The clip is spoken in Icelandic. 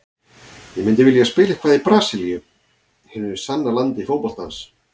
Ég myndi vilja spila eitthvað í Brasilíu, hinu sanna landi fótboltans.